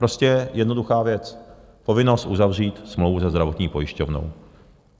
Prostě jednoduchá věc - povinnost uzavřít smlouvu se zdravotní pojišťovnou.